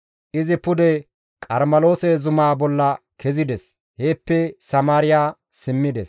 Izi pude Qarmeloose zumaa bolla kezides; heeppe Samaariya simmides.